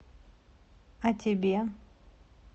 а тебе